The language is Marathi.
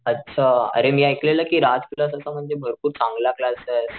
अच्छा अरे मी ऐकलेलं कि राज क्लास असा म्हणजे भरपूर चांगला क्लासे,